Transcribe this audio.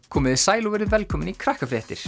komiði sæl og verið velkomin í